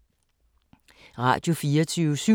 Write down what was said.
Radio24syv